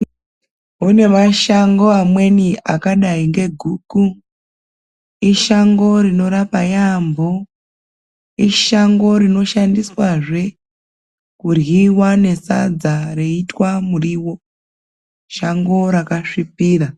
Kunemashango amweni akadayi ngegukhu. Ishango rinorapa yambo. Ishango rinoshandiswa zve, kudlyiwa nesadza reyithwa muriwo. Shango rakaswipira.